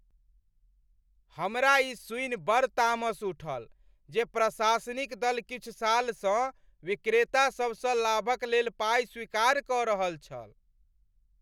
हमरा ई सुनि बड़ तामस उठल जे प्रशासनिक दल किछु सालसँ विक्रेता सभसँ लाभक लेल पाइ स्वीकार कऽ रहल छल।